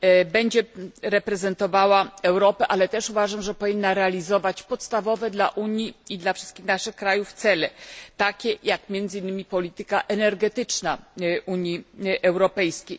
Będzie ona reprezentowała Europę, ale uważam, że powinna ona też realizować podstawowe dla Unii i dla wszystkich naszych krajów cele, takie jak między innymi polityka energetyczna Unii Europejskiej.